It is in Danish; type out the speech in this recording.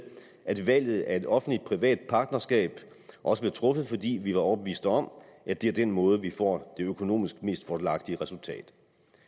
at valget af et offentlig privat partnerskab også blev truffet fordi vi var overbeviste om at det er den måde vi får det økonomisk mest fordelagtige resultat